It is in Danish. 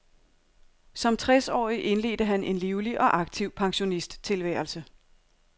Som tres årig indledte han en livlig og aktiv pensionisttilværelse.